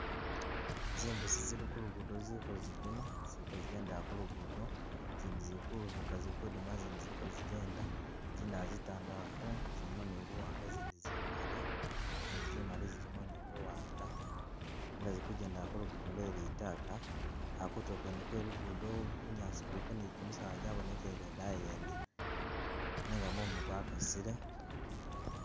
Zimbuusi zili kulugudo ziliko zidima ziliko zigendela kulugudo zindi zili Kulubuka zili kudima zindi ziliko zigenda zindala zitandalafu zilimo ni buwaanga izindi zimali izindi zimali zilimo ni buwaanga nenga zili kujendela kulugudo lwe litaka, kutuulo kwene kwe lugudo bunyaasi buliko ni jimisaala jabonekele daayi yene nenga mumu gwakasile